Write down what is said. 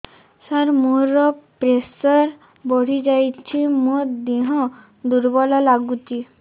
ସାର ମୋର ପ୍ରେସର ବଢ଼ିଯାଇଛି ମୋ ଦିହ ଦୁର୍ବଳ ଲାଗୁଚି